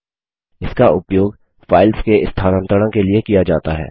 इसका उपयोग फाइल्स के स्थानांतरण के लिए किया जाता है